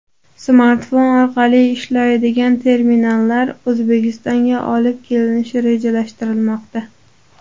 Smartfon orqali ishlaydigan terminallar O‘zbekistonga olib kelinishi rejalashtirilmoqda.